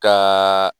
Ka